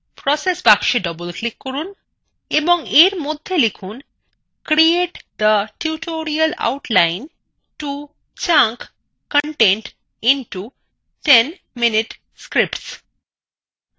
process box double click করুন এবং এর মধ্যে লিখুন create the tutorial outline to chunk content into ১০minute scripts